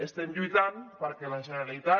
estem lluitant perquè la generalitat